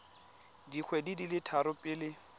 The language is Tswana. dikgwedi di le tharo pele